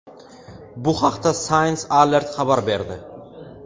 Bu haqda Science Alert xabar berdi.